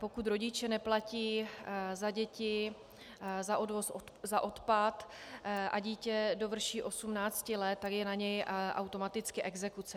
Pokud rodiče neplatí za děti za odpad a dítě dovrší 18 let, tak je na něj automaticky exekuce.